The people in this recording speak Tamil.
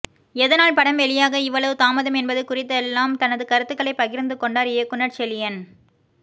எதனால் படம் வெளியாக இவ்வளவு தாமதம் என்பது குறித்தெல்லாம் தனது கருத்துக்களை பகிர்ந்து கொண்டார் இயக்குநர் செழியன்